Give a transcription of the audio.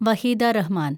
Waheeda Rahman